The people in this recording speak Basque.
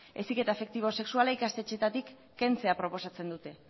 heziketa afektibo sexuala ikastetxeetatik kentzea proposatzen dute